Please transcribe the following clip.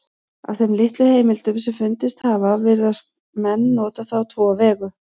Af þeim litlu heimildum sem fundist hafa virðast menn nota það á tvo vegu.